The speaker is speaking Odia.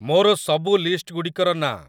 ମୋର ସବୁ ଲିଷ୍ଟ୍‌ଗୁଡ଼ିକର ନାଁ